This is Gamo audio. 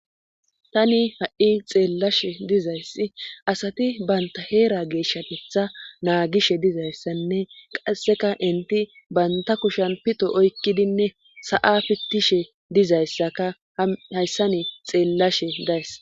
tani ha'i xeellashe dizayssi asati banta heera geeshshatetha naagishe dizayssanne qasseka enti banta kushan pito oykkidinne sa'a pittishe dizayssakka hayssani xeellashe days